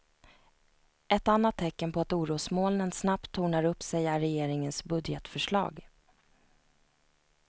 Ett annat tecken på att orosmolnen snabbt tornar upp sig är regeringens budgetförslag.